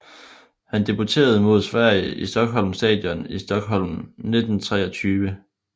Han debuterede mod på Sverige i Stockholm Stadion i Stockholm 1923